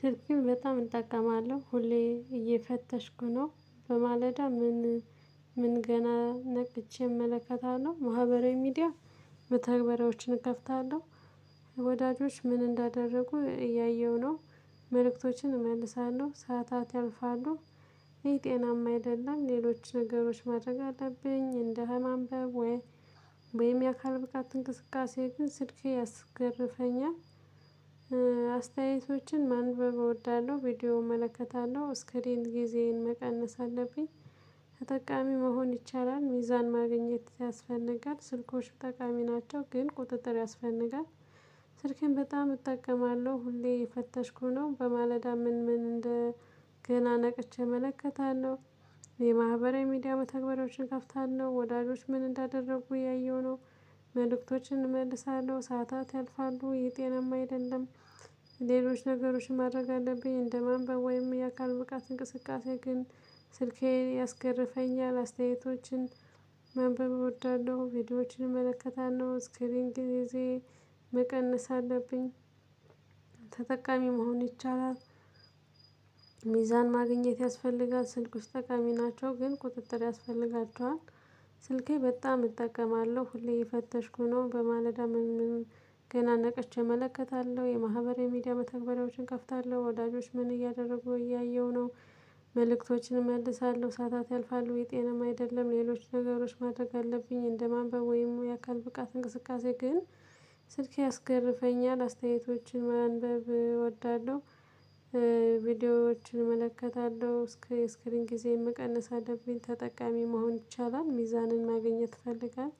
ስልክም በጣም እጠቀማለሁ ሁሌ እየፈተሽኩ ነው በማለዳ ምን ምን ገና ነቅቼ እመለከታለሁ ማህበራዊ ሚዲያ መተግበራያዎችን እከፍታለሁ። ወዳጆች ምን እንዳደረጉ እያየሁ ነው። መልእክቶችን እመልሳለሁ ሰዓታት ያልፋሉ። ይሄ ጤናማ አይደለም ሌሎች ነገሮች ማድረግ አለብኝ እንደህ ማንበብ ወይ ወይም የአካል ብቃት እንቅስቃሴ ግን ስልኬ ያስገርፈኛል። አስተያየቶችን ማንበብ እወዳለሁ ቪዲዮ እመለከታለሁ እስክሪን ጊዜዬን መቀነስ አለብኝ። ተጠቃሚ መሆን ይቻላል። ሚዛን ማግኘት ያስፈልጋል። ስልኮች ጠቃሚ ናቸው ግን ቁጥጥር ያስፈንጋል። ስልኬን በጣም እጠቀማለሁ ሁሌ የፈተሽኩ ነው በማለዳ ምን ምን እንደ ገና ነቅቼ እመለከታለሁ የማህበራዊ ሚዲያ መተግበሪያዎችን ከፍታለሁ። ወዳጆች ምን እንዳደረጉ እያየሁ ነው። መልእክቶችን እመልሳለሁ ሰዓታት ያልፋሉ ይህ ጤናማ አይደለም። ሌሎች ነገሮችን ማድረግ አለብኝ እንደ ማንበብ ወይም የአካል ብቃት እንቅስቃሴ ግን ስልኬ ያስገርፈኛል። አስተያየቶችን ማንበብ እወዳለሁ ቪዲዮዎችን እመለከታለሁ እስክሪን ጊዜ መቀነስ አለብኝ። ተጠቃሚ መሆን ይቻላል። ሚዛን ማግኘት ያስፈልጋል። ስልክ ውስጥ ጠቃሚ ናቸው ግን ቁጥጥር ያስፈልጋቸዋል። ስልኬ በጣም እጠቀማለሁ ሁሌ የፈተሽኩ ነው በማለዳ ምን ምን ገና ነቅቼ እመለከታለሁ የማህበራዊ ሚዲያ መተግበሪያዎችን እከፍታለሁ። ወዳጆች ምን እያደረጉ እያየሁ ነው። መልእክቶችን እመልሳለሁ ሰዓታት ያልፋሉ ይህ ጤናማ አይደለም። ሌሎች ነገሮች ማድረግ አለብኝ እንደማንበብ ወይም የአካል ብቃት እንቅስቃሴ ግን ስልኬ ያስገርፈኛል። አስተያየቶችን ማንበብ እወዳለሁ። ቪዲዮዎችን እመለከታለሁ እስክሪን ጊዜን መቀነስ አለብኝ ተጠቃሚ መሆን ይቻላል ሚዛንን ማግኘት ይፈልጋል።